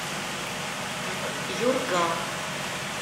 юрга